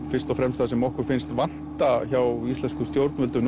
fyrst og fremst það sem okkur finnst vanta hjá íslenskum stjórnvöldum